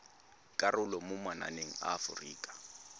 karolo mo mananeng a aforika